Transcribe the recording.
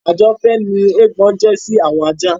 Ajọ̀fẹ́ ni eégbọn jẹ́ sí àwọn ajá.